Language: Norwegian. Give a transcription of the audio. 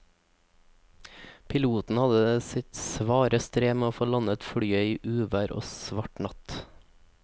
Piloten hadde sitt svare strev med å få landet flyet i uvær og svart natt.